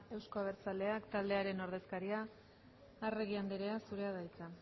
euzko abertzaleak taldearen ordezkaria arregi andrea zurea da hitza